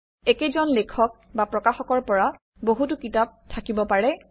একেজন লেখক বা প্ৰকাশকৰ পৰা বহুতো কিতাপ থাকিব পাৰে